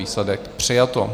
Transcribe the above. Výsledek: přijato.